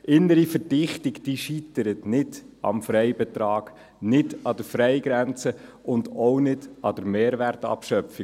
Innere Verdichtung scheitert nicht am Freibetrag, nicht an der Freigrenze und auch nicht an der Mehrwertabschöpfung.